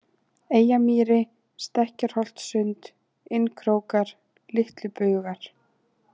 Eyjamýri, Stekkjarholtssund, Innkrókar, Litlubugar